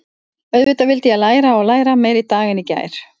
Auðvitað vildi ég læra og læra, meira í dag en í gær.